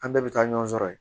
An bɛɛ bɛ taa ɲɔgɔn sɔrɔ yen